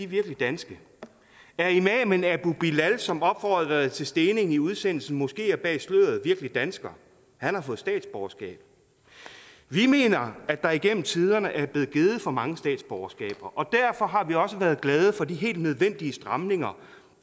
virkelig danske er imamen abu bilal som opfordrede til stening i udsendelsen moskeer bag sløret virkelig dansker han har fået statsborgerskab vi mener at der igennem tiderne er blevet givet for mange statsborgerskaber og derfor har vi også været glade for de helt nødvendige stramninger